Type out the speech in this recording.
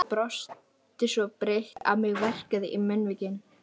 Ég brosti svo breitt að mig verkjaði í munnvikin.